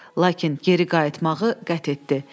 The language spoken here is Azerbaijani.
Lakin geri qayıtmağı qət etdi.